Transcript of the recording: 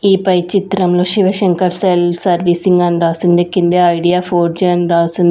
ఈ పై చిత్రంలో శివశంకర్ సెల్ సర్వీసింగ్ అని రాసింది కిందే ఐడియా ఫోర్ జి అని రాసుం--